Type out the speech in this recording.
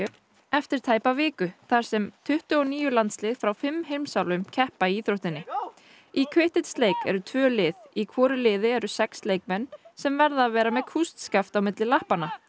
eftir tæpa viku þar sem tuttugu og níu landslið frá fimm heimsálfum keppa í íþróttinni í Quidditch leik eru tvö lið í hvoru liði eru sex leikmenn sem verða að vera með kústskaft á milli lappanna